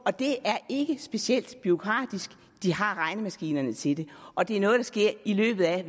og det er ikke specielt bureaukratisk de har regnemaskinerne til det og det er noget der sker i løbet af